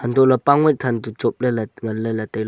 antohley pangwai than toh chop ley ley tai ley.